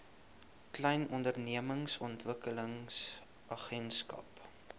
klein ondernemings ontwikkelingsagentskap